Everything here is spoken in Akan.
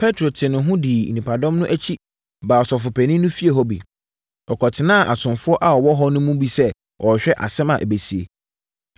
Petro tee ne ho dii nnipadɔm no akyi baa Ɔsɔfopanin no efie hɔ bi. Ɔkɔtenaa asomfoɔ a wɔwɔ hɔ no mu sɛ ɔrehwɛ asɛm a ɛbɛsie.